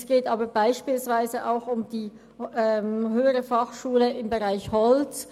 Es geht aber beispielsweise auch um die Höhere Fachschule Holz Biel (HF Holz).